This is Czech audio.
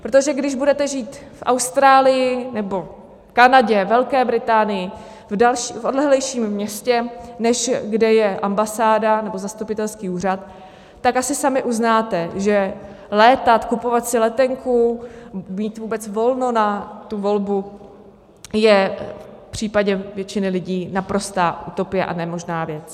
Protože když budete žít v Austrálii nebo Kanadě, Velké Británii, v odlehlejším městě, než kde je ambasáda nebo zastupitelský úřad, tak asi sami uznáte, že létat, kupovat si letenku, mít vůbec volno na tu volbu je v případě většiny lidí naprostá utopie a nemožná věc.